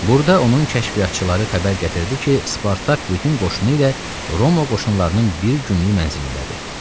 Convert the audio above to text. Burda onun kəşfiyyatçıları xəbər gətirdi ki, Spartak bütün qoşunu ilə Roma qoşunlarının bir günlük mənzilindədir.